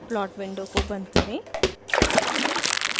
plot window को बंद करें